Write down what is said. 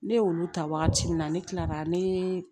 Ne y'olu ta wagati min na ne kila la ne